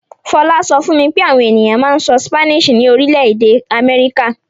Fọlá sọ fún mi pé àwọn ènìyàn máa ń sọ Spanish ní orílẹ̀-èdè Amẹ́ríkà.